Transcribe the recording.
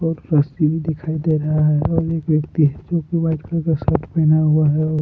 और रस्सी भी दिखाई दे रहा है और एक व्यक्ति जो की वाइट कलर का शर्ट पहना हुआ है और--